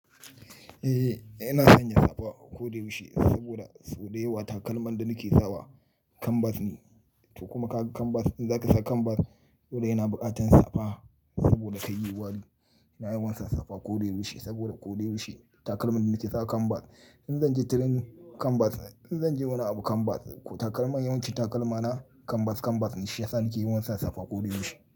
Eh, ina sanya safa ko da yaushe saboda so da yawa takalman da nake sawa kanbas ne. To kuma kaga kanbas in zaka sa kanbas dole yana bukatan safa saboda kar yayi wari ina yawan sa safa ko da yaushe saboda ko da yaushe takalman da nake sawa kanbas. In zan je tirenin kanbas, in zan je wani abu kanbas, takalman yawanci takalmana kanbas kanbas ne shiyasa nake yawan sa safa ko da yaushe.